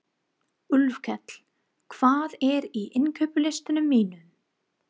Úlfkell, hvað er á innkaupalistanum mínum?